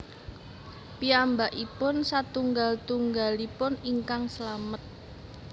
Piyambakipun satunggal tunggalipun ingkang slamet